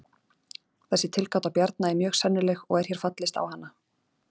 þessi tilgáta bjarna er mjög sennileg og er hér fallist á hana